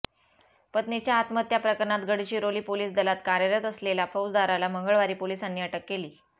पत्नीच्या आत्महत्या प्रकरणात गडचिरोली पोलीस दलात कार्यरत असलेला फौजदाराला मंगळवारी पोलिसांनी अटक केली